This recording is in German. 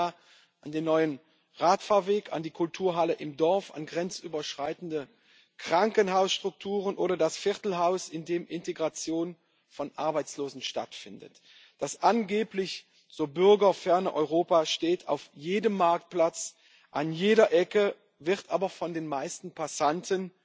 Ich denke da an den neuen Radfahrweg, an die Kulturhalle im Dorf, an grenzüberschreitende Krankenhausstrukturen oder das Viertelhaus, in dem Integration von Arbeitslosen stattfindet. Das angeblich so bürgerferne Europa steht auf jedem Marktplatz, an jeder Ecke, wird aber von den meisten Passanten